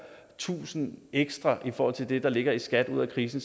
tusind ekstra i forhold til det der ligger i skat ud af krisen